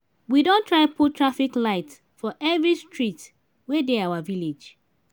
we don try put traffic lights for every street wey dey our village